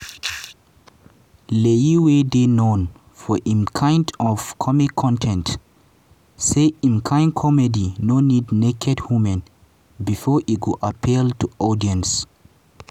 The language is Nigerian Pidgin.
layi wey dey known for im type of comic con ten ts say im kain comedy no need naked women bifor e go appeal to audience.